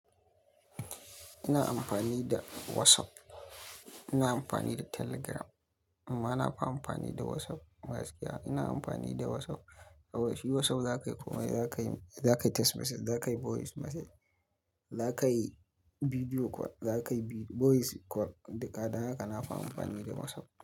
Ina amfani da WhatsApp, ina amfani da Telegram amma na fi amfani da WhatsApp gaskiya. Ina amfani da WhatsApp kawai, shi WhatsApp za ka yi komai, za ka yi text message, za ka yi voice message, za ka yi video call, za ka yi voice call. Duka dan haka na fi amfani da WhatsApp.